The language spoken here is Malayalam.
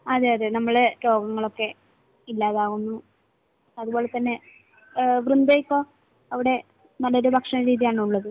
അതെയതെ. നമ്മുടെ രോഗങ്ങളൊക്കെ ഇല്ലാതാകുന്നു. അതുപോലെ തന്നെ വൃന്ദയിപ്പോൾ അവിടെ നല്ലൊരു ഭക്ഷണരീതിയാണോ ഉള്ളത്?